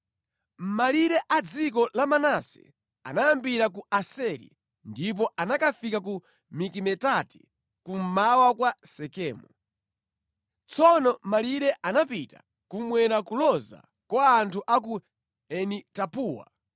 Malire a dziko la Manase anayambira ku Aseri, ndipo anakafika ku Mikimetati kummawa kwa Sekemu. Tsono malire anapita kummwera kuloza kwa anthu a ku Eni-Tapuwa.